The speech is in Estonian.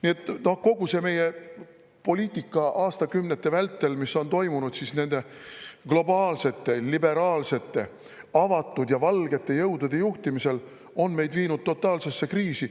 Nii et kogu see meie poliitika, mis on aastakümnete vältel toimunud nende globaalsete, liberaalsete, avatud ja valgete jõudude juhtimisel, on meid viinud totaalsesse kriisi.